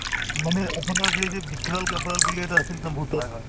মানে আপোনাৰ যে যে vikral গেবৰিয়েল বুলি এটা আছিল এটা ভূতৰ